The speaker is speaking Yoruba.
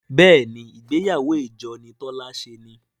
béèni ìgbéyàwó ìjọ ni Tola ṣe ní.